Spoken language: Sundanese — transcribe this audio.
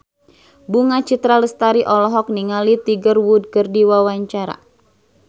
Bunga Citra Lestari olohok ningali Tiger Wood keur diwawancara